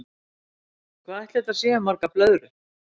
Hvað ætli þetta séu margar blöðrur?